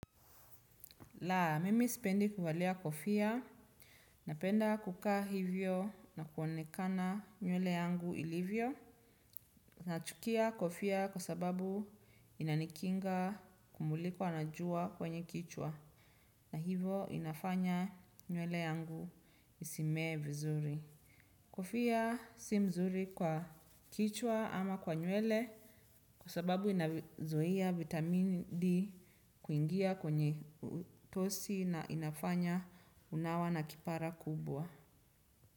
Laa, mimi sipendi kuvalia kofia, napenda kuka hivyo na kuonekana nywele yangu ilivyo na chukia kofia kwa sababu inanikinga kumulikwa na jua kwenye kichwa. Hivo inafanya nywele yangu isimee vizuri Kofia si mzuri kwa kichwa ama kwa nywele kwa sababu inazuia vitamini D kuingia kwenye utosi na inafanya unawa na kipara kubwa.